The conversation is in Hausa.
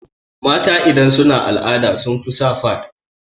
mata idan suna al'ada sai sun sa fad